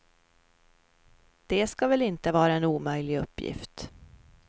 Det ska väl inte vara en omöjlig uppgift.